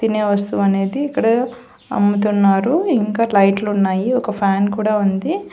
తినే వస్తువు అనేది అమ్ముతున్నారు ఇంకా లైట్లు ఉన్నాయి ఒక ఫ్యాన్ కూడా ఉంది.